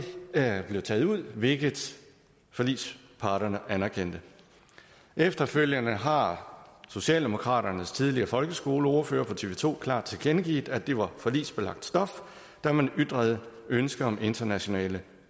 det blev taget ud hvilket forligsparterne anerkendte efterfølgende har socialdemokraternes tidligere folkeskoleordfører over for tv to klart tilkendegivet at det var forligsbelagt stof da man ytrede ønske om internationale